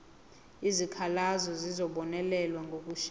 izikhalazo zizobonelelwa ngokushesha